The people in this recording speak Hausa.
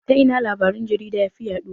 Ta ina labaran jarida yafi yaɗuwa?